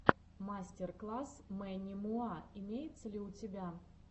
мастер класс мэнни муа имеется ли у тебя